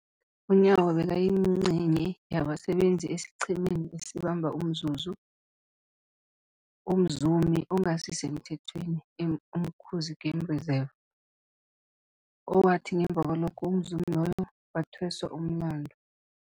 UNyawo bekayingcenye yabasebenza esiqhemeni esabamba umzumi ongasisemthethweni e-Umkhuze Game Reserve, owathi ngemva kwalokho umzumi loyo wathweswa umlandu.